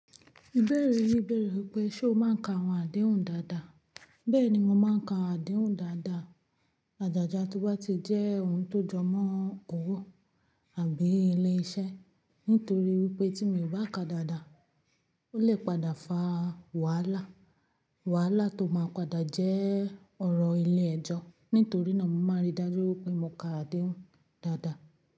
Ìbéèrè yí bẹ̀rẹ̀ wípé ṣe o máa ń ka àwọn àdéhùn dáadáa? Bẹ́ẹ̀ni mo máa ń ka àdéhùn dáadáa, àjàjà tóbá ti jẹ́ ohun tó jọ mọ́ ọwọ́ àbí ilé iṣẹ́. Nítorí wípé tí mi ò bá ka dáadáa, ó lè padà fa wàhálà. Wàhálà tó máa padà jẹ́ ọ̀rọ̀ ilé ẹjọ́. Nítorí náà mo máa ń rí dájú wípé mo ka àdéhùn dáadáa.